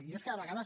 jo és que de vegades